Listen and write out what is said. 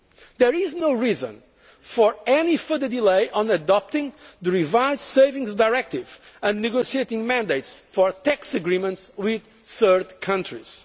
too. There is no reason for any further delay on adopting the revised Savings Directive and the negotiating mandates for tax agreements with third countries.